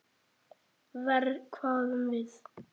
Verr, hváðum við.